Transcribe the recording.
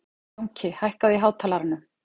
Jónki, hækkaðu í hátalaranum.